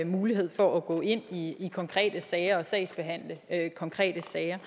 mulighed for at gå ind i konkrete sager og sagsbehandle konkrete sager